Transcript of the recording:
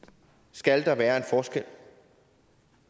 skal der være en forskel